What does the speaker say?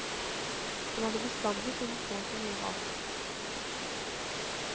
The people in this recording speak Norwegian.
Han hadde bestandig funnet på så mye rart.